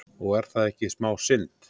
Og er það ekki smá synd?